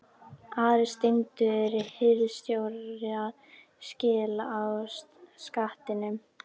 ARI STENDUR HIRÐSTJÓRA SKIL Á SKATTINUM